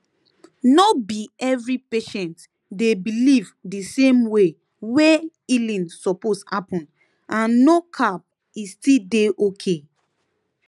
no be every patient dey believe di same way wey healing suppose happen and no cap e still dey okay